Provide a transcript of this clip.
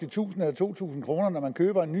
tusind eller to tusind kr når man køber ny